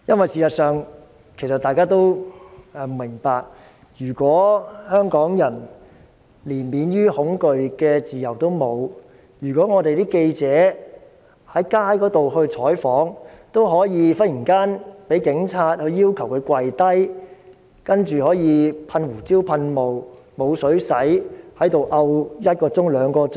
事實上，如果香港人連免於恐懼的自由都沒有，如果記者在街上採訪，也可以忽然被警察要求下跪，然後被噴胡椒噴霧，沒有水清洗，情況持續一兩小時。